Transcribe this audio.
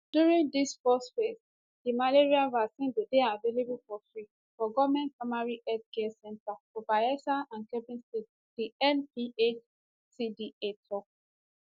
during dis first phase di malaria vaccine go dey available for free for goment primary healthcare centres for bayelsa and kebbi states di nphcda tok